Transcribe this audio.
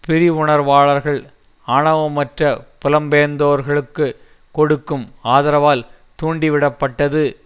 பரிவுணர்வாளர்கள் ஆவணமற்ற புலம்பெயர்ந்தோர்களுக்கு கொடுக்கும் ஆதரவால் தூண்டிவிடப்பட்டது